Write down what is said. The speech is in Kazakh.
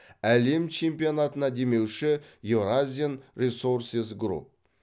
әлем чемпионатына демеуші еуразиан ресорсес груп